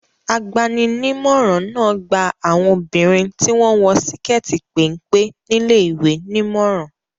Agbani-nímọ̀ràn náà gba àwọn obìnrin tí wọ́n ń wọ síkẹ́tì péńpé níléèwé nímọ̀ràn.